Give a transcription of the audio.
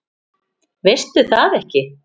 Veistu það ekki?